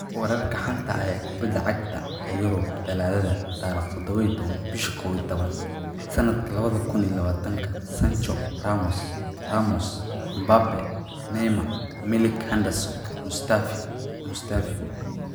Wararka xanta ah ee kooxda kubada cagta ee Yurub Talaadada 17.11.2020: Sancho, Ramos, Ramos, Mbappe, Neymar, Milik, Henderson, Mustafi, Mustaafi